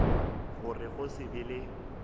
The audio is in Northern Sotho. gore go se be le